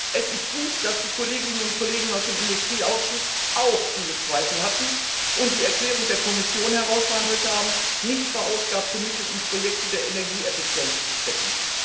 Es ist gut, dass die Kolleginnen und Kollegen aus dem Industrieausschuss auch diese Zweifel hatten und die Erklärung der Kommission ausgehandelt haben, nicht verausgabte Mittel in Projekte der Energieeffizienz zu stecken.